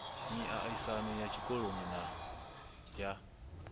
miaisano ya tshikoloni na ya